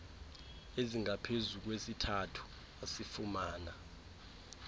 ezingaphezu kwesithathu asifumana